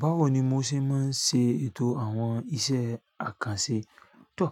Báwo ni mo ṣe máa ń ṣe ètò àwọn iṣẹ́ àkànṣe? Tọ̀,